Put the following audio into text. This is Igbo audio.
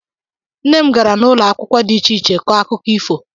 Nna m gara n'ụlọ akwụkwọ dị iche iche kọọ akụkọ ifo.